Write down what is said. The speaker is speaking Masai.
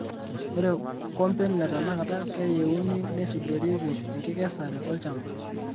Ore komben letenakata keyeuni neisudorieki enkikesare olchamba.